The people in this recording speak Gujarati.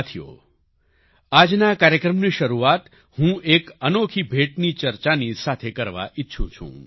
સાથીઓ આજના કાર્યક્રમની શરૂઆત હું એક અનોખી ભેટની ચર્ચાની સાથે કરવા ઈચ્છું છું